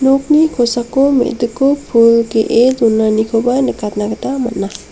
nokni kosako me·diko pul ge·e donanikoba nikatna gita man·a.